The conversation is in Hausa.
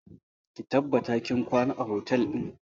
Ki tabbata kin kwana a otel ɗin!